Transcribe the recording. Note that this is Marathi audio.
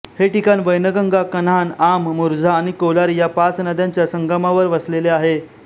हे ठिकाण वैनगंगा कन्हान आम मुरझा आणि कोलारी या पाच नद्यांच्या संगमावर वसलेले आहे